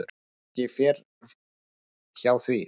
Ekki fer hjá því.